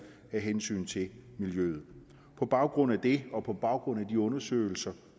af hensyn til miljøet på baggrund af det og på baggrund af de undersøgelser